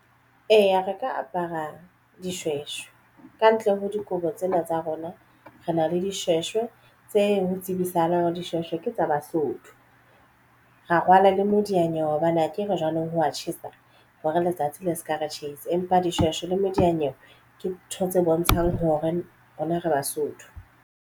Eya, re ka apara dishweshwe kantle ho dikobo tsena tsa rona re na le dishweshwe tse ho tsibisahalang dishweshwe ke tsa Basotho ra rwala le modiyanyewe hobane akere jwanong ho wa tjhesa hore letsatsi le se ka re tjhesa empa dishweshwe le mediyanyewe ke ntho tse bontshang hore rona re Basotho.